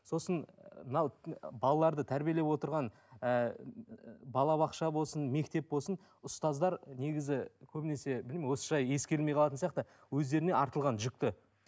сосын мынау балаларды тәрбиелеп отырған ыыы балабақша болсын мектеп болсын ұстаздар негізі көбінесе білмеймін осы жай ескерілмей қалатын сияқты өздеріне артылған жүкті